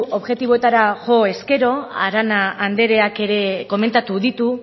objektiboetara jo ezkero arana andreak ere komentatu ditu